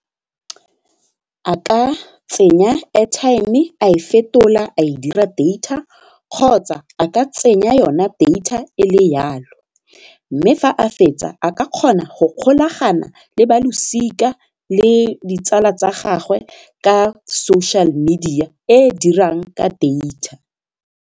A ka tsenya airtime a e fetola a e dira data kgotsa a ka tsenya yona data ele yalo mme fa a fetsa a ka kgona go golagana le ba losika le ditsala tsa gagwe ka social media e e dirang ka data.